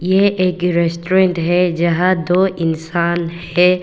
ये एक रेस्टोरेंट है जहां दो इंसान हैं।